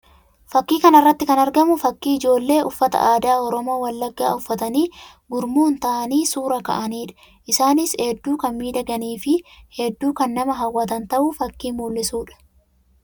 Fakkii kana irratti kan argamu fakkii ijoollee uffata aadaa Oromoo Wallaggaa uffatanii gurmuun ta'anii suuraa ka'anii dha. Isaanis hedduu kan miidhaganii fi hedduu kan nama hawwatan ta'uu fakkii mul'isuu dha.